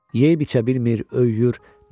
Yeyib-içə bilmir, öyüyür.